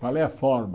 Qual é a forma?